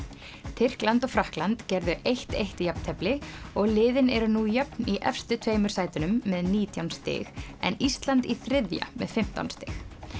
Tyrkland og Frakkland gerðu eitt til eitt jafntefli og liðin eru nú jöfn í efstu tveimur sætunum með nítján stig en Ísland í þriðja með fimmtán stig